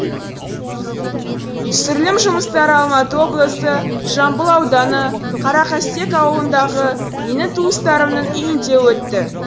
түсірілім жұмыстары алматы облысы жамбыл ауданы қарақастек ауылындағы менің туыстарымның үйінде өтті